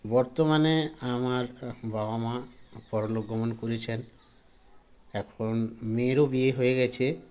বর্তমানে আমার বাবা মা পরলোক গমন করেছেন এখন মেয়ের ও বিয়ে হয়ে গেছে